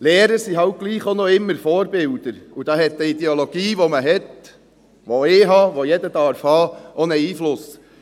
– Lehrer sind halt doch auch immer noch Vorbilder, und da hat die Ideologie, die man hat – die ich habe und die jeder haben darf –, ebenfalls einen Einfluss.